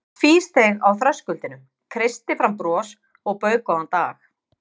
Ég tvísteig á þröskuldinum, kreisti fram bros og bauð góðan dag.